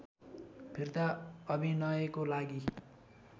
फिर्ता अभिनयको लागि